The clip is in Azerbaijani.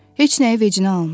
Heç nəyi vecinə almır.